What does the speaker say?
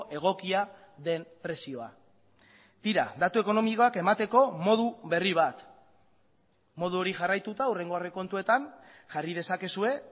egokia den prezioa tira datu ekonomikoak emateko modu berri bat modu hori jarraituta hurrengo aurrekontuetan jarri dezakezue